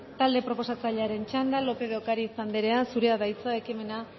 talde proposatzailearen txanda lópez de ocariz anderea zurea da hitza ekimena